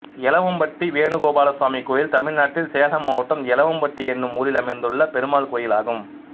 எலவம்பட்டி வேணு கோபால சுவாமி கோயில் தமிழ்நாட்டில் சேலம் மாவட்டம் எலவம்பட்டி என்னும் ஊரில் அமைந்துள்ள பெருமாள் கோயிலாகும்